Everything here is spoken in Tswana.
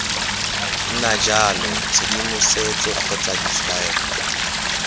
nna jalo tshedimosetso kgotsa ditshwaelo